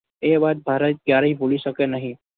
એ વાત ભારત ક્યારેય ભૂલી શકે નહી